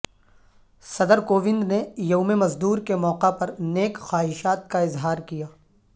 صدر کووند نے یوم مزدور کے موقع پر نیک خواہشات کا اظہار کیا